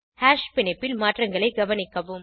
hash பிணைப்பில் மாற்றங்களை கவனிக்கவும்